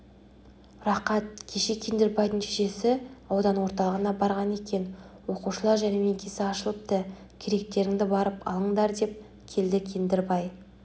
рақат кеше кендірбайдың шешесі аудан орталығына барған екен оқушылар жәрмеңкесі ашылыпты керектеріңді барып алыңдардеп келді кеңдірбай